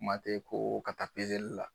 Kuma tɛ ko ka taa pezeli la.